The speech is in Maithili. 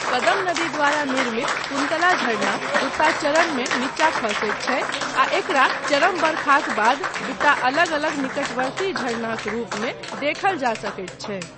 कदम नदी द्वारा निर्मित कुन्तला झरना दूटा चरणमे नीचा खसैत छै आ एकरा चरम बरखाक बाद दूटा अलग अलग निकटवर्ती झरनाक रूपमे देखल जा सकैत छै।